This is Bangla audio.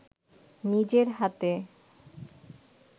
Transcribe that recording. নিজের হাতে